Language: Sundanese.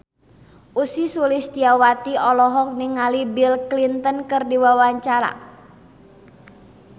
Ussy Sulistyawati olohok ningali Bill Clinton keur diwawancara